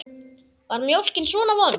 Var mjólkin svona vond?